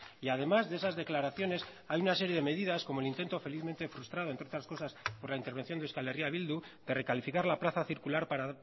y además de esas declaraciones hay una serie de medidas como el intento felizmente frustrado entre otras cosas por la intervención de euskal herria bildu de recalificar la plaza circular para